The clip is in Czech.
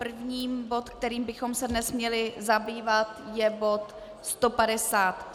První bod, kterým bychom se dnes měli zabývat, je bod